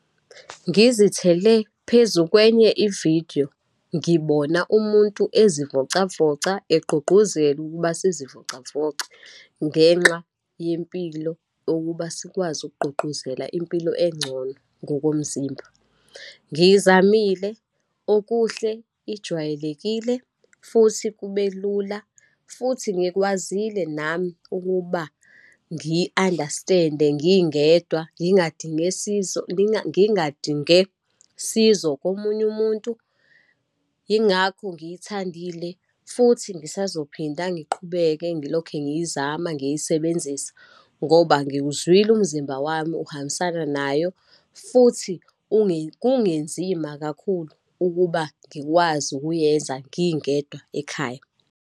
Ngizithele phezu kwenye ividiyo, ngibona umuntu ezivocavoca, egqugquzela ukuba sizivocavoce, ngenxa yempilo ukuba sikwazi ukugqugquzela impilo engcono ngokomzimba. Ngiyizamile, okuhle ijwayelekile, futhi kube lula, futhi ngikwazile nami ukuba ngiyi-understand-e ngingedwa, ngingadinge sizo, ngingadinge sizo komunye umuntu. Yingakho ngiyithandile, futhi ngisazophinda ngiqhubeke ngilokhe ngiyizama, ngiyisebenzisa ngoba ngiwuzwile umzimba wami uhambisana nayo, futhi kungenzima kakhulu ukuba ngikwazi ukuyenza, ngingedwa ekhaya.